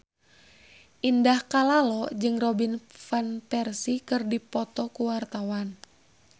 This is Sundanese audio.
Indah Kalalo jeung Robin Van Persie keur dipoto ku wartawan